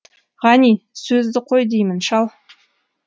ғани сөзді қой деймін шал